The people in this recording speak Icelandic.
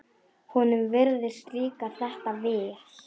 Honum virðist líka þetta vel.